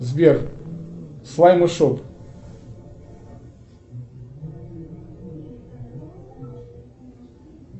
сбер слаймы шоп